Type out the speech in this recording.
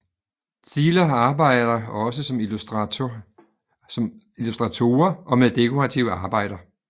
Zieler arbejder også som illustratorer og med dekorative arbejder